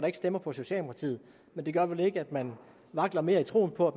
ikke stemmer på socialdemokratiet men det gør vel ikke at man vakler mere i troen på at